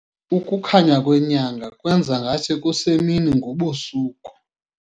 Ukukhanya kwenyanga kwenza ngathi kusemini ngobusuku.